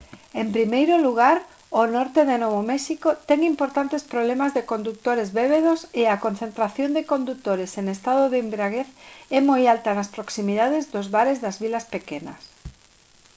en primeiro lugar o norte de novo méxico ten importantes problemas de condutores bébedos e a concentración de condutores en estado de embriaguez é moi alta nas proximidades do bares das vilas pequenas